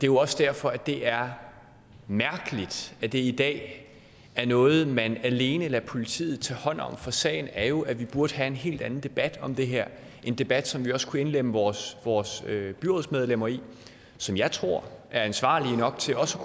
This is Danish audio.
jo også derfor det er mærkeligt at det i dag er noget man alene lader politiet tage hånd om for sagen er jo at vi burde have en helt anden debat om det her en debat som vi også kunne indlemme vores vores byrådsmedlemmer i som jeg tror er ansvarlige nok til også